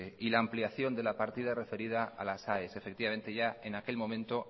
y la ampliación de la partida referida a las aes efectivamente ya en aquel momento